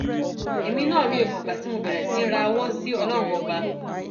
èmi náà mi ò mọgbà tí mo bẹrẹ sí í rawọ sí ọlọrun ọba